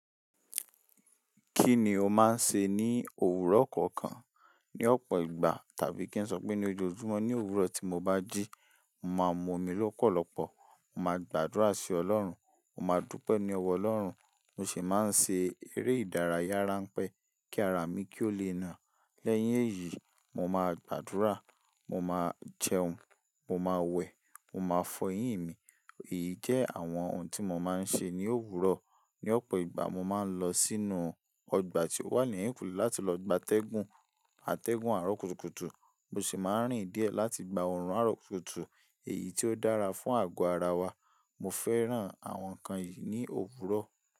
Kí ni o máa ń ṣe ní òwúrọ̀ kọ̀ọ̀kan, ní ọ̀pọ̀ ìgbà tàbí kí n sọ pé ní ojoojúmọ́? Ní òwúrọ̀ tí mo bá jí, mo màá mú omi lọ́pọ̀lọpọ̀, mo màá gbàdúrà sí Ọlọ́run, mo màá dúpẹ́ ní ọwọ́ Ọlọ́run, mo sì máa ń ṣe eré ìdárayá ránpẹ́ kí ara mi kó lè na. Lẹ́yìn èyí, mo máa gbàdúrà, mo máa jẹun, mo máa wẹ̀, mo máa fọ eyín ì mi. Èyí jẹ́ àwọn ohun tí mo máa ń ṣe ní òwúrọ̀. Ni ọ̀pọ̀ ìgbà mo máa ń lọ sínú ọgbà tí ó wà ní ẹ̀yìnkùlé láti lọ gbà tẹ́gùn, àtẹ́gùn àròkútokùtu, mo sì máa ń rìn díẹ̀ láti gba òrùn àròkútokùtu èyí tó dára fún àgọ́ ara wa. Mo fẹ́ràn àwọn nǹkan yìí ní òwúrọ̀.